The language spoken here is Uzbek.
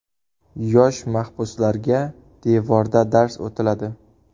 Yosh mahbuslarga devorda dars o‘tiladi.